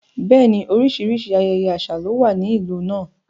Bẹ́ẹ̀ni, oríṣiríṣi ayẹyẹ àṣà ló wà ní ìlú náà.